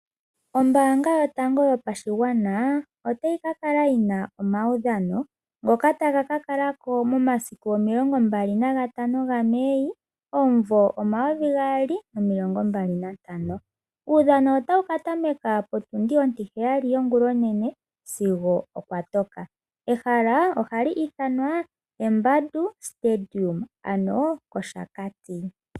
Ombaanga yotango yopashigwana otayi kakala yina omaudhano ngoka taga ka kalako momasiku omilongombali nagatano ga Mei omumvo omayovi gaali nomilongo mbali nantano . Uudhano otawu katameka potundi ontiheyali yongulonene sigo kwatoko. Ehala opo kapale ko pembandu moshakati.